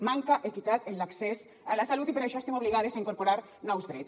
manca equitat en l’accés a la salut i per això estem obligades a incorporar nous drets